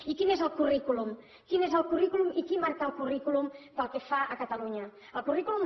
i quin és el currículum quin és el currículum i qui marca el currículum pel que fa a catalunya el currículum